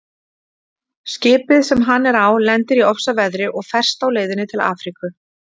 Skipið sem hann er á lendir í ofsaveðri og ferst á leiðinni til Afríku.